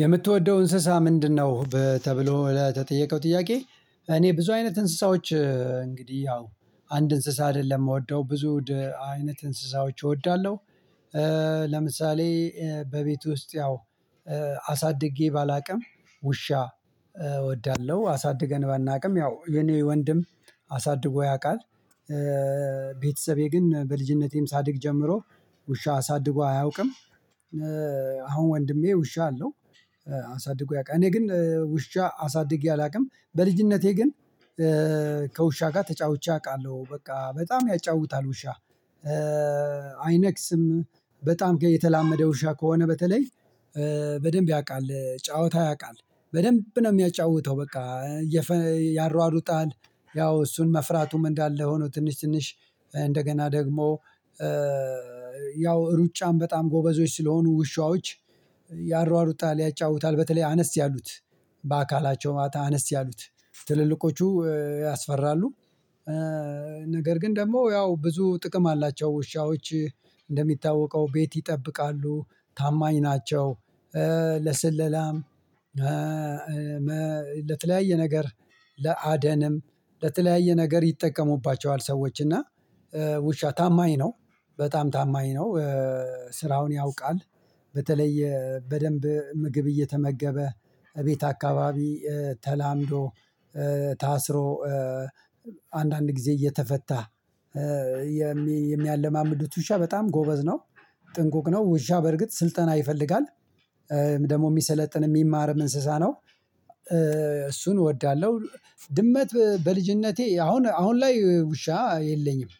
የምትወደው እንስሳ ምንድነው? በተብሎ ለተጠየቀው ጥያቄ እኔ ብዙ አይነት እንስሳዎች እንግዲህ ያው አንድ እንስሳ አይደለም የምወደው ብዙ አይነት እንስሳዎች እወዳለሁ። ለምሳሌ በቤቱ ውስጥ ያው አሳድጌ ባላውቅም ውሻ እወዳለሁ። አሳድገን ባናውቅም ያው የኔ ወንድም አሳድጎ ያውቃል። ቤተሰቤ ግን በልጅነቴም ሳድግ ጀምሮ ውሻ አሳድጎ አያውቅም። አሁን ወንድሜ ውሻ አለው። አሳድጎ ያውቃል እኔ ግን ውሻ አሳድጌ አላውቅም በልጅነቴ ግን። ከውሻ ጋር ተጫውቼ አውቃለሁ በቃ በጣም ያጫውታል ውሻ። አይነክስም በጣም ጋር የተላመደ ውሻ ከሆነ በተለይ በደንብ ያውቃል ጨዋታ ያውቃል። በደንብ ነው የሚያጫውተው በቃ። ያሯሩጣል ያው እሱን መፍራቱም እንዳለ ሆኖ ትንሽ ትንሽ እንደገና ደግሞ። ያው ሩጫም በጣም ጎበዞች ስለሆኑ ውሾች ያሯሩጣል ያጫውታል በተለይ አነስ ያሉት በአካላቸው ማታ አነስ ያሉት ትልልቆቹ ያስፈራሉ። ነገር ግን ደግሞ ያው ብዙ ጥቅም አላቸው ውሾች። እንደሚታወቀው ቤት ይጠብቃሉ ታማኝ ናቸው። ለስለላም ለተለያየ ነገር ለአደንም ለተለያየ ነገር ይጠቀሙባቸዋል። ሰዎች እና ውሻ ታማኝ ነው። በጣም ታማኝ ነው። ስራውን ያውቃል በተለይ በደንብ ምግብ እየተመገበ እቤት አካባቢ ተላምዶ። ታስሮ አንዳንድ ጊዜ እየተፈታ የሚያለማምዱት ውሻ በጣም ጎበዝ ነው። ጥንቁቅ ነው ውሻ በርግጥ ስልጠና ይፈልጋል። ደግሞ የሚሰለጥን የሚማርም እንስሳ ነው። እሱን እወዳለሁ። ድመት በልጅነቴ አሁን አሁን ላይ ውሻ የለኝም።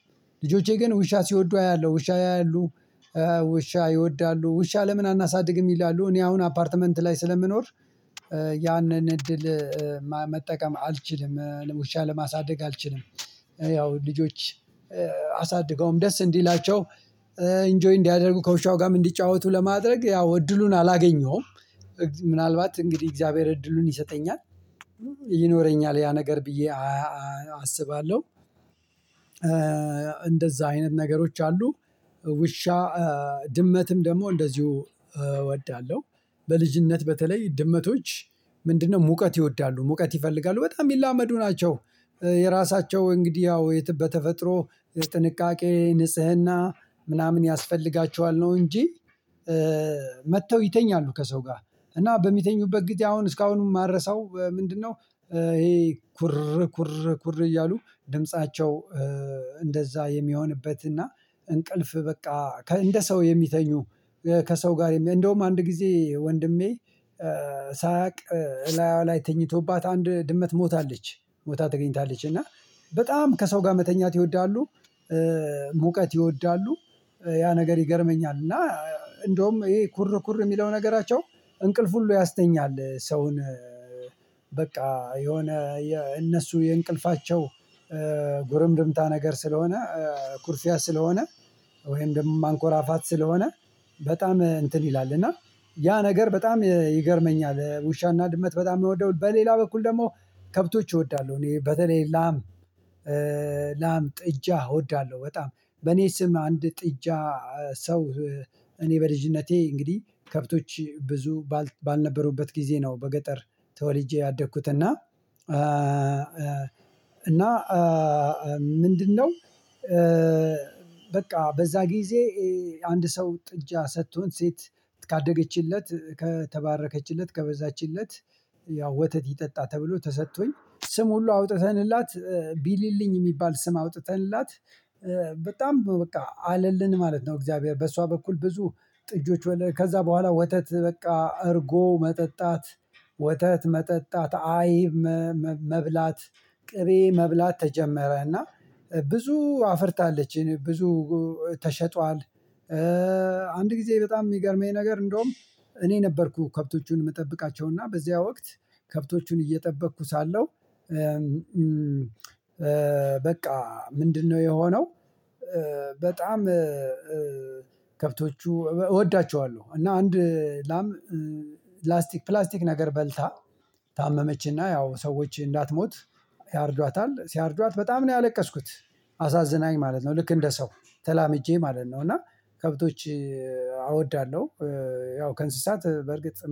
ልጆቼ ግን ውሻ ሲወዱ አያለሁ ውሻ ያያሉ ውሻ ይወዳሉ ውሻ ለምን አናሳድግም ይላሉ እኔ አሁን አፓርትመንት ላይ ስለምኖር። ያንን እድል መጠቀም አልችልም ውሻ ለማሳደግ አልችልም። ያው ልጆች አሳድገውም ደስ እንዲላቸው ኢንጆይ እንዲያደርጉ ከውሻው ጋርም እንዲጫወቱ ለማድረግ ያው እድሉን አላገኘሁም። ምናልባት እንግዲህ የእግዚአብሔር እድሉን ይሰጠኛል ይኖረኛል ያ ነገር ብዬ አስባለሁ። እንደዛ አይነት ነገሮች አሉ። ውሻ ድመትም ደግሞ እንደዚሁ እወዳለሁ። በልጅነት በተለይ ድመቶች ምንድነው? ሙቀት ይወዳሉ ሙቀት ይፈልጋሉ በጣም የሚላመዱ ናቸው። የራሳቸው እንግዲህ ያው የት በተፈጥሮ ጥንቃቄ ንጽህና ምናምን ያስፈልጋቸዋል ነው እንጂ። መጥተው ይተኛሉ ከሰው ጋር እና በሚተኙበት ጊዜ አሁን እስካሁንም የማልረሳው ምንድነው? ይሄ ኩር ኩር ኩር እያሉ ድምፃቸው። እንደዛ የሚሆንበትና እንቅልፍ በቃ እንደ ሰው የሚተኙ። ከሰው ጋር እንደውም አንድ ጊዜ ወንድሜ ሳያውቅ እላይዋ ላይ ተኝቶባት አንድ ድመት ሞታለች። ሞታ ተገኝታለች እና በጣም ከሰው ጋር መተኛት ይወዳሉ። ሙቀት ይወዳሉ። ያ ነገር ይገርመኛል። እና እንደውም ይሄ ኩር ኩር የሚለው ነገራቸው እንቅልፍ ሁሉ ያስተኛል ሰውን። በቃ የሆነ የእነሱ የእንቅልፋቸው ጉርምርምታ ነገር ስለሆነ። ኩርፊያ ስለሆነ ወይም ደግሞ ማንኮራፋት ስለሆነ። በጣም እንትን ይላል እና ያ ነገር በጣም ይገርመኛል። ውሻና ድመት በጣም የሚወደው በሌላ በኩል ደግሞ ከብቶች እወዳለሁ እኔ በተለይ ላም። ጥጃ እወዳለሁ በጣም። በኔ ስም አንድ ጥጃ ሰው እኔ በልጅነቴ እንግዲህ ከብቶች ብዙ ባልነበሩበት ጊዜ ነው በገጠር ተወልጄ ያደግኩት እና። እና ምንድነው? በቃ በዛ ጊዜ አንድ ሰው ጥጃ ሰጥቶን ሴት ካደገችለት ከተባረከችለት ከበዛችለት ያው ወተት ይጠጣ ተብሎ ተሰጥቶኝ ስም ሁሉ አውጥተንላት ቢሊልኝ የሚባል ስም አውጥተንላት። በጣም በቃ አለልን ማለት ነው። እግዚአብሔር በሷ በኩል ብዙ ጥጆች ከዛ በኋላ ወተት በቃ እርጎ መጠጣት። ወተት መጠጣት አይብ መብላት ቅቤ መብላት ተጀመረ። እና ብዙ አፍርታለች ብዙ ተሸጧል። አንድ ጊዜ በጣም የሚገርመኝ ነገር እንደውም እኔ ነበርኩ ከብቶቹን የምጠብቃቸውና በዚያ ወቅት ከብቶቹን እየጠበቅኩ ሳለሁ። በቃ ምንድነው የሆነው። በጣም ከብቶቹ እወዳቸዋለሁ እና አንድ ላም ፕላስቲክ ፕላስቲክ ነገር በልታ ታመመችና ያው ሰዎች እንዳትሞት ያርዷታል ሲያርዷት በጣም ነው ያለቀስኩት። አሳዝናኝ ማለት ነው። ልክ እንደ ሰው ተላምጄ ማለት ነው። እና ከብቶች አወዳለሁ። ያው ከእንስሳት በርግጥ